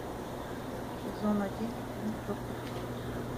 сезон один фильм доктор хаус